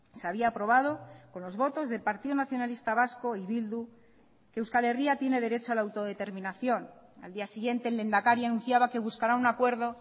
se había aprobado con los votos del partido nacionalista vasco y bildu que euskal herria tiene derecho a la autodeterminación al día siguiente el lehendakari anunciaba que buscará un acuerdo